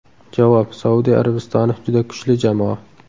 Javob: Saudiya Arabistoni juda kuchli jamoa.